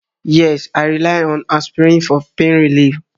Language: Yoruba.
Yes, I rely on aspirin for pain relief